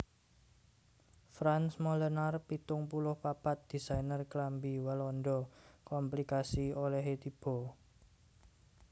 Frans Molenaar pitung puluh papat désainer klambi Walanda komplikasi olèhé tiba